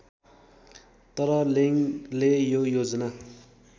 तर लेङ्गले यो योजना